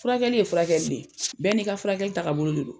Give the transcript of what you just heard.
Furakɛli ye furakɛli le ye bɛɛ n'i ka furakɛli tagabolo de don